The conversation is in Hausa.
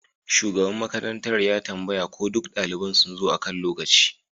Shugaban makarantar ya tambaya ko duk daliban sun zo akan lokaci